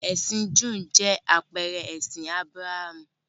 Ẹ̀sìn Júù jẹ́ àpẹẹrẹ ẹ̀sìn Ábúráhámù.